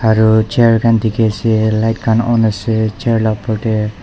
aru chair khan dikhiase light khan on ase chir la opor tae.